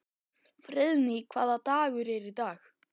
Friðný, hvaða dagur er í dag?